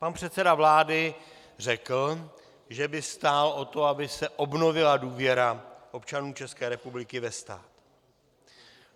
Pan předseda vlády řekl, že by stál o to, aby se obnovila důvěra občanů České republiky ve stát.